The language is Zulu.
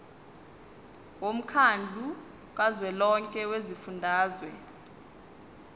womkhandlu kazwelonke wezifundazwe